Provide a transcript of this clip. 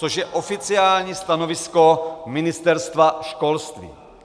Což je oficiální stanovisko Ministerstva školství.